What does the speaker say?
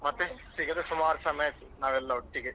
ಮತ್ತೆ ಸಿಗದೇ ಸುಮಾರು ಸಮಯ ಆಯ್ತು ನಾವೆಲ್ಲ ಒಟ್ಟಿಗೆ.